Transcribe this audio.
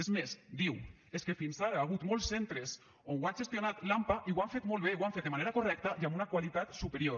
és més diu és que fins ara ha hagut molts centres on ho ha gestionat l’ampa i ho han fet molt bé ho han fet de manera correcta i amb una qualitat superior